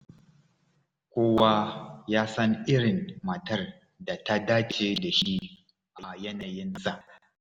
Kowa ya san irin matar da ta dace da shi a yanayinsa.